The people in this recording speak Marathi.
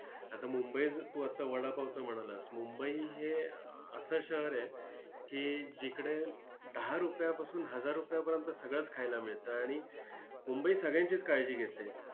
आता मुंबईचं, तू आता वडापावचं म्हणालास! मुंबई हे असं शहर आहे की जिकडे दहा रुपयापासून, हजार रुपयापर्यंत सगळंच खायला मिळतं आणि मुंबई सगळ्यांचीच काळजी घेते.